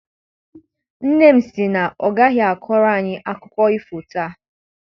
Nne m sị na ọ gaghị akpọrọ anyị akụkọ ifo taa.